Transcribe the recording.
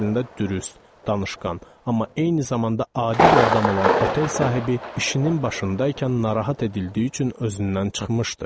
Əslində dürüst, danışqan, amma eyni zamanda adi bir adam olan otel sahibi işinin başında ikən narahat edildiyi üçün özündən çıxmışdı.